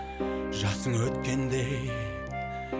жасын өткендей